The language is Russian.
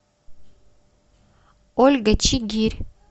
ольга чигирь